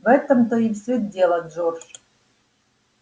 в этом-то все и дело джордж